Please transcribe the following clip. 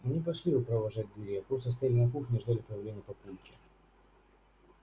мы не пошли его провожать к двери а просто стояли на кухне и ждали появления папульки